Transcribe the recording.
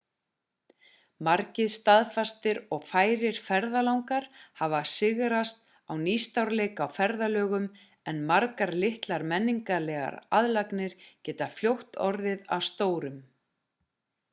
margir staðfastir og færir ferðalangar hafa sigrast á nýstárleika á ferðalögum en margar litlar menningarlegar aðlaganir geta fljótt orðið að stórum